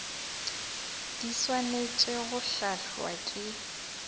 di swanetše go hlahlwa ke